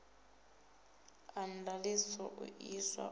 a ndaṱiso u iswa u